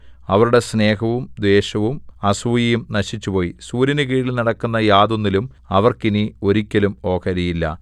അവരുടെ സ്നേഹവും ദ്വേഷവും അസൂയയും നശിച്ചുപോയി സൂര്യനുകീഴിൽ നടക്കുന്ന യാതൊന്നിലും അവർക്ക് ഇനി ഒരിക്കലും ഓഹരിയില്ല